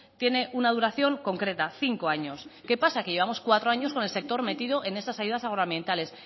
tiene una duración concreta cinco años qué pasa que llevamos cuatro años con el sector metido en esas ayudas agroambientales